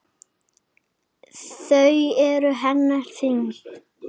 Þau eru henni þung.